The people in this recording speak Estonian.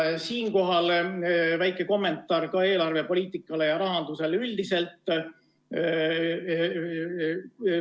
Siinkohal väike kommentaar ka eelarvepoliitika ja rahanduse kohta üldiselt.